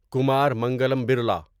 Kumar Mangalam Birla